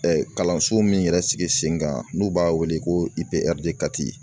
kalanso min yɛrɛ sigi sen kan n'u b'a wele ko